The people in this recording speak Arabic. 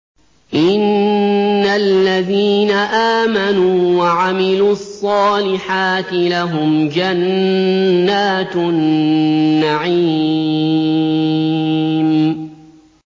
إِنَّ الَّذِينَ آمَنُوا وَعَمِلُوا الصَّالِحَاتِ لَهُمْ جَنَّاتُ النَّعِيمِ